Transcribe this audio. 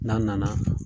N'a nana